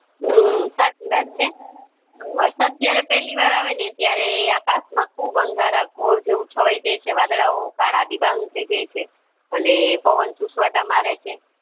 હમ સાચી વાત છે વરસાદ જયારે પેલી વાર આવે છે ત્યારે આકાશ માં ખુબ અંધારા ઘોર જેવું છવાય જાય છે વાદળ ઓ કળા ડીબાંગ થય જાય છે અને પવન સુસવતા મારે છે